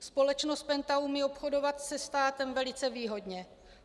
Společnost PENTA umí obchodovat se státem velice výhodně.